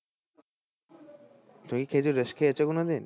তুমি কি খেজুর রস খেয়েছো কোনো দিন?